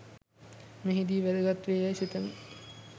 මෙහිදී වැදගත් වේ යැයි සිතමි.